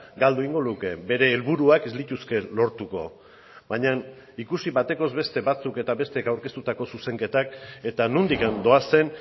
galdu egingo luke bere helburuak ez lituzke lortuko baina ikusi batekoz beste batzuk eta besteek aurkeztutako zuzenketak eta nondik doazen